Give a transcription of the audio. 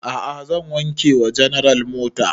A'a zan wanke wa general mota